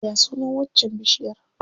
Ya sunan waccar bishiyar?